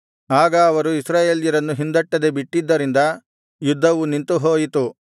ಆಗ ಅವರು ಇಸ್ರಾಯೇಲ್ಯರನ್ನು ಹಿಂದಟ್ಟದೆ ಬಿಟ್ಟಿದ್ದರಿಂದ ಯುದ್ಧವು ನಿಂತುಹೋಯಿತು